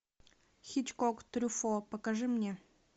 хичкок трюфо покажи мне